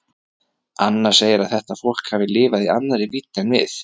Anna segir að þetta fólk hafi lifað í annarri vídd en við.